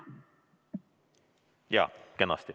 Jah, kenasti.